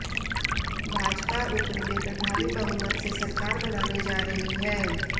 भाजपा उप्र में प्रभावी बहुमत से सरकार बनाने जा रही है